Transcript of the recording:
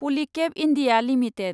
पलिकेब India limited